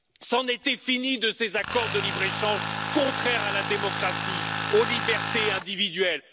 C'en était fini de ces accords de libre échange contraires à la démocratie, aux libertés individuelles.